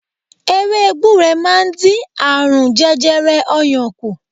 Ewé gbure máa ń dín àrùn jẹjẹrẹ oyan kù.